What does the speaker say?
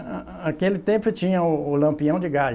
Ã, ã, aquele tempo tinha o o lampião de gás.